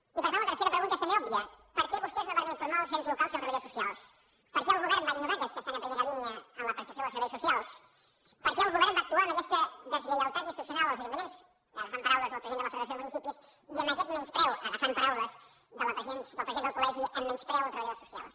i per tant la tercera pregunta és també òbvia per què vostès no varen informar els ens locals i els treballadors socials per què el govern va ignorar aquells que estan en primera línia en la prestació dels serveis socials per què el govern va actuar amb aquesta deslleialtat institucional als ajuntaments agafant paraules del president de la federació de municipis i amb aquest menyspreu agafant paraules del president del col·legi amb menyspreu als treballadors socials